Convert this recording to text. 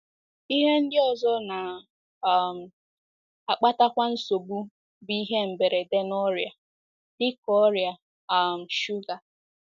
Ihe ndị ọzọ na um - akpatakwa nsogbu bụ ihe mberede na ọrịa, dị ka ọrịa um shuga.